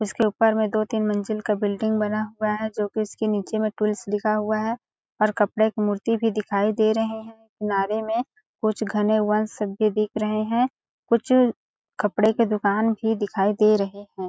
इसके ऊपर में दो-तीन मंजिल का बिल्डिंग बना हुआ है जो की नीचे में पुलिस लिखा हुआ है और कपड़े के मूर्ति भी दिखाई दे रहै है किनारे में कुछ घने वनस सब भी दिख रहै हैं कुछ कपड़े के दुकान भी दिखाई दे रहै है।